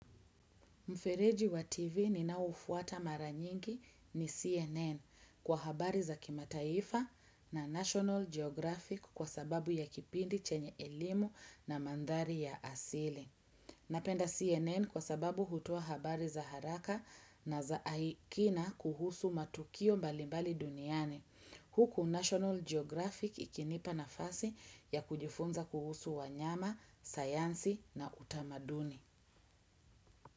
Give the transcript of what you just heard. Mfereji wa TV ninaoufuata mara nyingi ni CNN kwa habari za kimataifa na National Geographic kwa sababu ya kipindi chenye elimu na mandhari ya asili. Napenda CNN kwa sababu hutoa habari za haraka na za kina kuhusu matukio mbali mbali duniani. Huku National Geographic ikinipa nafasi ya kujifunza kuhusu wanyama, sayansi na utamaduni.